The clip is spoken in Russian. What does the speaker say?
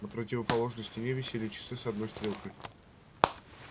на противоположной стене висели часы с одной стрелкой